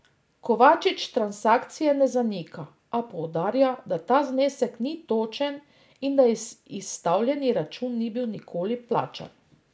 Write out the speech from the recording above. Kovačič transakcije ne zanika, a poudarja, da ta znesek ni točen in da izstavljeni račun ni bil nikoli plačan.